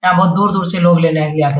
यहाँ बहोत दूर-दूर से लोग लेने भी आ --